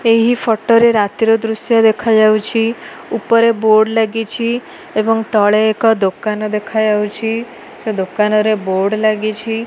ଏହି ଫୋଟୋ ରେ ରାତି ର ଦୃଶ୍ୟ ଦେଖାଯାଉଛି ଉପରେ ବୋର୍ଡ ଲାଗିଛି ଏବଂ ତଳେ ଏକ ଦୋକାନ ଦେଖାଯାଉଛି ସେ ଦୋକାନରେ ବୋର୍ଡ ଲାଗିଛି।